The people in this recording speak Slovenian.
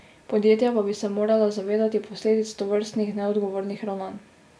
Podjetja pa bi se morala zavedati posledic tovrstnih neodgovornih ravnanj.